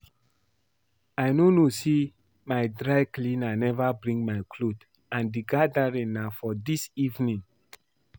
I no know say my dry cleaner never bring my cloth and the gathering na for dis evening